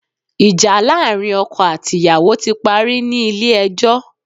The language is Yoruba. Ìjà láàrin ọkọ àti ìyàwó ti parí ní Ilé ẹjọ́